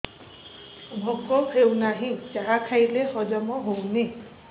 ଭୋକ ହେଉନାହିଁ ଯାହା ଖାଇଲେ ହଜମ ହଉନି